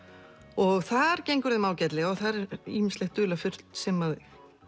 og þar gengur þeim ágætlega og þar er ýmislegt dularfullt sem